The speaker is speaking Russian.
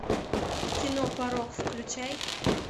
кино порок включай